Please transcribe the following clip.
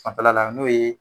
Fan fɛla la n'o ye